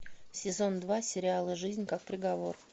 сезон два сериала жизнь как приговор